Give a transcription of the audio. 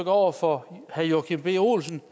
over for herre joachim b olsen